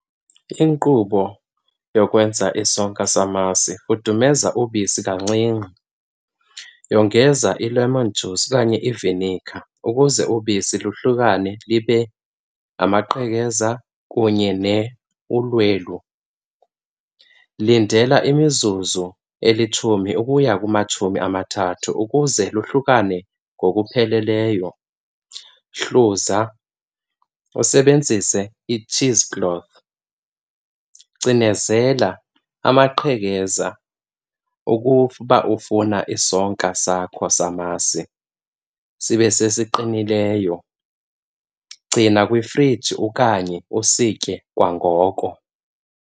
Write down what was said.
Inkqubo yokwenza isonka samasi, fudumeza ubisi kancinci, yongeza i-lemon juice okanye iviniga ukuze ubisi luhlukane libe ngamaqhekeza kunye ulwelo. Lindela imizuzu elitshumi ukuya kumatshumi amathathu ukuze lohlukane ngokupheleleyo. Hluza usebenzise i-cheese cloth, cinezela amaqhekeza ukuba ufuna isonka sakho samasi sibe sesiqinileyo. Gcina kwifriji okanye usitye kwangoko.